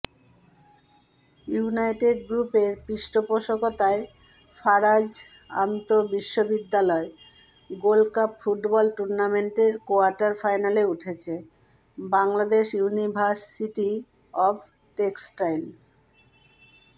United গ্রুপের পৃষ্ঠপোষকতায় ফারাজ আন্তবিশ্ববিদ্যালয় গোল্ডকাপ ফুটবল টুর্নামেন্টের কোয়ার্টার ফাইনালে উঠেছে বাংলাদেশ ইউনিভার্সিটি অব টেক্সটাইল